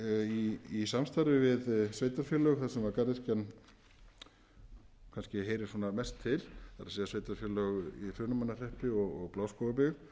í samstarfi við sveitarfélög þar sem garðyrkjan kannski heyrir mest til það er sveitarfélög í hrunamannahreppi og bláskógabyggð